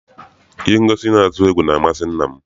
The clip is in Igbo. Ihe ngosi na-atụ egwu na amasị nna m.